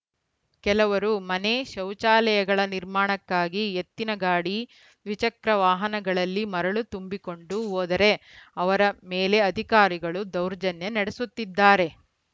ಕೆಲವರು ಮನೆಶೌಚಾಲಯಗಳ ನಿರ್ಮಾಣಕ್ಕಾಗಿ ಎತ್ತಿನ ಗಾಡಿ ದ್ವಿಚಕ್ರ ವಾಹನಗಳಲ್ಲಿ ಮರಳು ತುಂಬಿಕೊಂಡು ಹೋದರೆ ಅವರ ಮೇಲೆ ಅಧಿಕಾರಿಗಳು ದೌರ್ಜನ್ಯ ನಡೆಸುತ್ತಿದ್ದಾರೆ